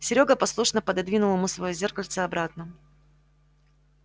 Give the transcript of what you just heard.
серёга послушно пододвинул ему своё зеркальце обратно